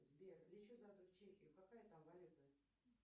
сбер лечу завтра в чехию какая там валюта